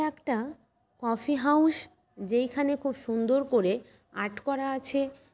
একটা coffee house. যেখানে খুব সুন্দর করে আর্ট করা আছে।